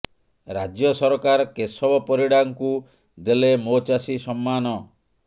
ରାଜ୍ୟ ସରକାର କେଶବ ପରିଡା ଙ୍କୁ ଦେଲେ ମୋ ଚାଷୀ ସମ୍ନାନ